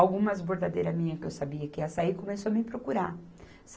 Algumas bordadeiras minhas que eu sabia que iam sair, começou a me procurar.